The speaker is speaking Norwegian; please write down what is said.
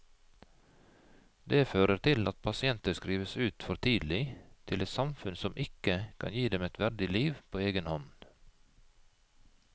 Det fører til at pasienter skrives ut for tidlig til et samfunn som ikke kan gi dem et verdig liv på egen hånd.